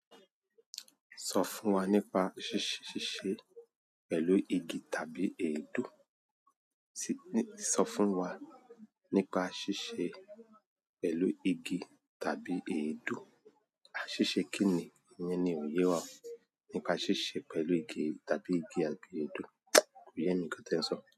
Sofun wa ni pa sise pẹ̀lú igi tabu èédú. Sọ fún wa nípa ṣíṣe pẹ̀lú igi tàbí èédú. Àṣìṣe kí ni? Ìyẹn ni òye wa. Nípa ṣíṣe pẹ̀lú igi tàbí igi àti èédú. Kò yé mi nkan ti ẹ̀ n sọ.